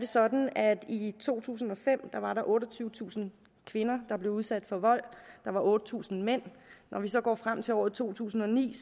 sådan at der i to tusind og fem var otteogtyvetusind kvinder der blev udsat for vold og otte tusind mænd når vi så går frem til år to tusind og ni